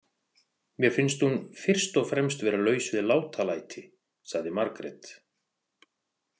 Mér finnst hún fyrst og fremst vera laus við látalæti, sagði Margrét.